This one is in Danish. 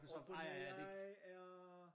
OpenAI er?